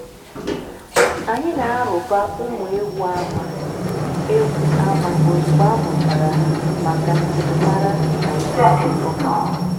anyị na-arụba ụmụ ewu ama ewu ama ozugbo amuchara ha maka njirimara na ihe ndekọ.